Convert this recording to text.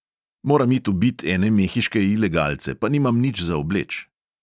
Moram it ubit ene mehiške ilegalce, pa nimam nič za obleč.